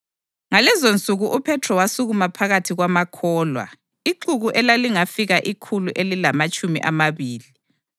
Ngalezonsuku uPhethro wasukuma phakathi kwamakholwa (ixuku elalingafika ikhulu elilamatshumi amabili)